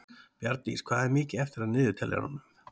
Bjarndís, hvað er mikið eftir af niðurteljaranum?